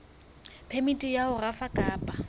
phemiti ya ho rafa kapa